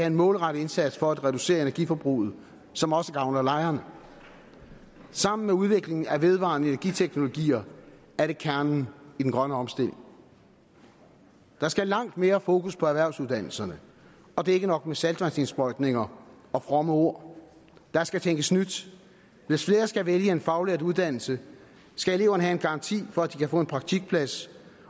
en målrettet indsats for at reducere energiforbruget som også gavner lejerne sammen med udviklingen af vedvarende energi teknologier er det kernen i den grønne omstilling der skal langt mere fokus på erhvervsuddannelserne og det er ikke nok med saltvandsindsprøjtninger og fromme ord der skal tænkes nyt hvis flere skal vælge en faglært uddannelse skal eleverne have en garanti for at de kan få en praktikplads